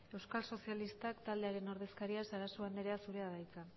euskal sozialistak taldearen ordezkaria sarasua anderea zurea da hitza